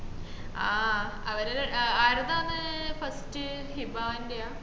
ആഹ് അവരെ ആരത്താണ് first ഹിബാന്റെയാ